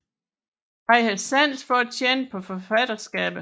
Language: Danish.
Han havde sans for at tjene på forfatterskabet